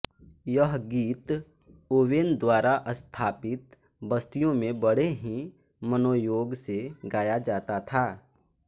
यह गीत ओवेन द्वारा स्थापित बस्तियों में बड़े ही मनोयोग से गाया जाता था